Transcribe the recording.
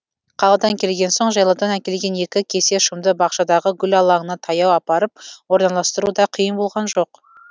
қаладан келген соң жайлаудан әкелген екі кесе шымды бақшадағы гүл алаңына таяу апарып орналастыру да қиын болған жоқ